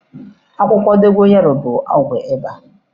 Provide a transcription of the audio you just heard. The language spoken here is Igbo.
Akwụkwọ dogo yaro bụ ọgwụ ịba.